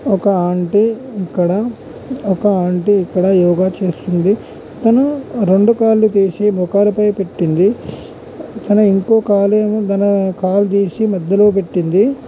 ఒక ఆంటీ ఇక్కడ ఒక ఆంటీ ఇక్కడ యోగా చేస్తుంది తానూ రెండు కాళ్ళు తీసి మోకాళ్ళ పై పెట్టింది తానూ ఇంకో కాళ్ళు ఏమోతన కాళ్ళు తీసి మధ్యలో పెట్టింది.